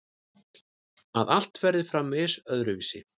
Að allt verður framvegis öðruvísi.